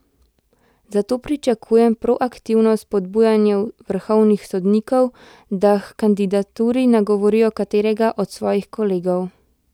Zato pričakujem proaktivno spodbujanje vrhovnih sodnikov, da h kandidaturi nagovorijo katerega od svojih kolegov.